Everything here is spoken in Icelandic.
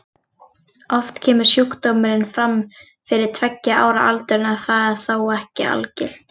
Oft kemur sjúkdómurinn fram fyrir tveggja ára aldur en það er þó ekki algilt.